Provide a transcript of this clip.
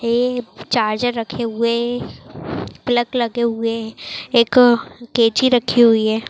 ये चार्जर लगे हुए हैं प्लग लगे हुए हैं एक कैंची रखी हुई है।